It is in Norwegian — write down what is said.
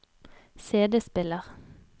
CD-spiller